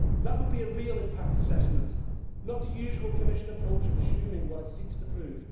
That would be a real impact assessment, not the usual Commission approach of assuming what it seeks to prove.